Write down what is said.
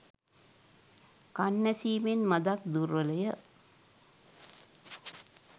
කන් ඇසීමෙන් මඳක් දුර්වලය